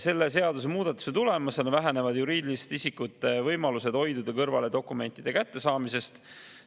Selle seadusemuudatuse tulemusena vähenevad juriidiliste isikute võimalused hoiduda kõrvale dokumentide kättesaamisest.